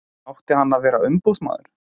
Átti hann að vera umboðsmaður?